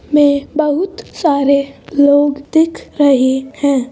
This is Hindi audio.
में बहुत सारे लोग दिख रहे हैं।